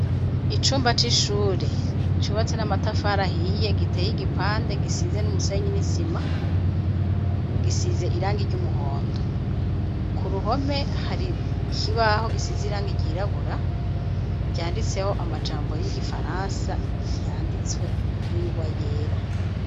Icumba c'ishure cubatswe n'amatafari ahiye, giteye igipande kimwe gisize umusenyi hamwe n'isima gisize irangi ry'umuhondo, k'uruhome hari ikibaho gisize irangi ry'irabura, canditseho amajambo y'igifaransa, ryanditswe n'ingwa yera.